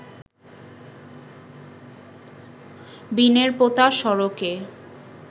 বিনেরপোতা সড়কে